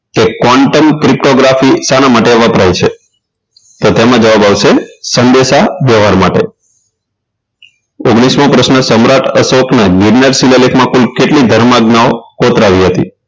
કે content cryptography શાના માટે વપરાય છે તેમાં જવાબ આવશે સંદેશા વ્યવહાર માટે ઓગણીસ મો પ્રશ્ન સમ્રાટ અશોકને માં કુલ કેટલી ધર્મ જ્ઞાઓ કોતરાવી હતી